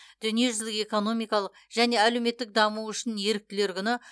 дүниежүзілік экономикалық және әлеуметтік даму үшін еріктілер күні